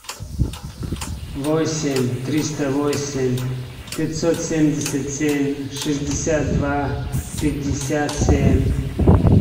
восемь триста восемь пятьсот семьдесят семь шестьдесят два пятьдесят семь